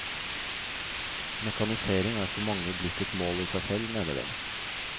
Mekanisering er for mange blitt et mål i seg selv, mener de.